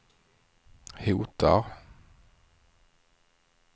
hotar